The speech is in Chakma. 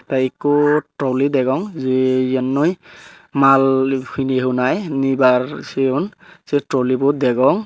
tey ekkho trolley degong jey eyannoi mal heni hunai nibar sigon say toli bo dagong.